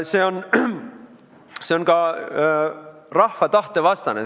See on ka rahva tahte vastane.